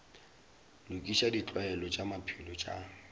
lokiša ditlwaelo tša maphelo tša